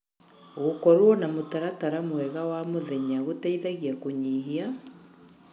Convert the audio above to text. Gũkorwo na mũtaratara mwega wa mũthenya gũteithagia kũnyihia